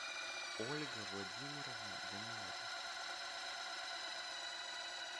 ольга владимировна данилова